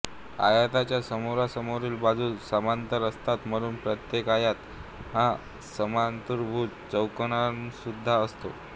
आयताच्या समोरासमोरील बाजू समांतर असतात म्हणून प्रत्येक आयत हा समांतरभुज चौकोनसुद्धा असतो